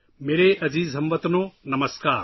میرے پیارے ہم وطنو، سلام